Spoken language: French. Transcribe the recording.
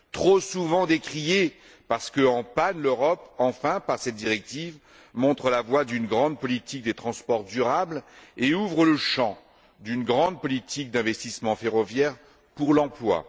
Trop souvent décriée parce qu'en panne, l'Europe, enfin, par cette directive, montre la voie d'une grande politique des transports durable et ouvre le champ d'une grande politique d'investissement ferroviaire pour l'emploi.